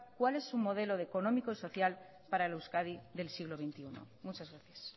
cuál es su modelo económico y social para la euskadi del siglo veintiuno muchas gracias